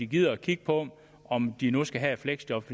gider kigge på om de nu skal have et fleksjob